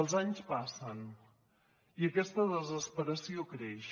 els anys passen i aquesta desesperació creix